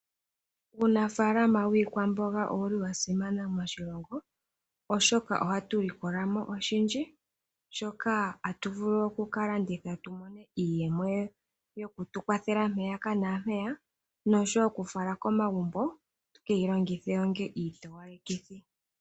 Uunafalama wiikwamboga owuli wa simana moshilongo oshoka ohatu likolamo oshindji shoka hatu vulu oku ka landitha tu mone iiyemo yokutu kwathela mpaka na mpeya noshowo oku fala komagumbo tu keyi longithe onga iitowalekitho.